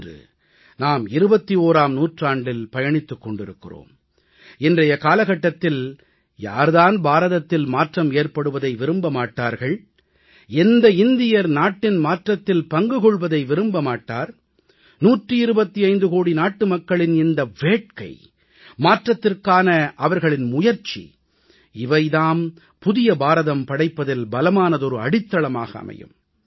இன்று நாம் 21ஆம் நூற்றாண்டில் பயணித்துக் கொண்டிருக்கிறோம் இன்றைய காலகட்டத்தில் யார் தான் பாரதத்தில் மாற்றம் ஏற்படுவதை விரும்ப மாட்டார்கள் எந்த இந்தியர் நாட்டின் மாற்றத்தில் பங்கு கொள்வதை விரும்ப மாட்டார் 125 கோடி நாட்டுமக்களின் இந்த வேட்கை மாற்றத்திற்க்காக அவர்களின் முயற்சி இவை தாம் புதிய பாரதம் படைப்பதில் பலமான அடித்தளமாக அமையும்